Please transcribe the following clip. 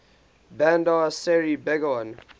bandar seri begawan